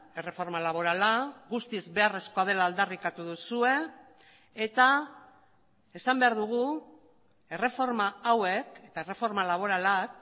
erreforma laborala guztiz beharrezkoa dela aldarrikatu duzue eta esan behar dugu erreforma hauek eta erreforma laboralak